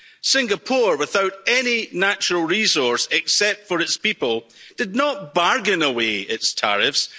Singapore, without any natural resource except for its people, did not bargain away its tariffs